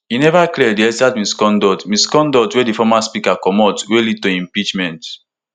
e neva clear di exact misconduct misconduct wey di former speaker comot wey lead to im impeachment